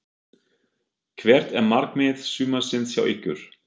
Hvert er markmið sumarsins hjá ykkur?